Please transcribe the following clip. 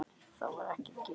Það var ekki gefið eftir.